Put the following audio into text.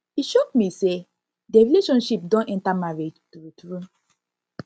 e shock me say their relationship don enter marriage true true